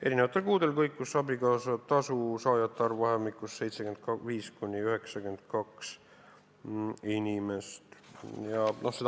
Eri kuudel kõikus abikaasatasu saajate arv 75 ja 92 inimese vahel.